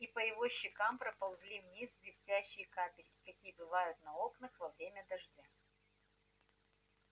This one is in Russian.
и по его щекам поползли вниз блестящие капельки какие бывают на окнах во время дождя